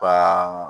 Ka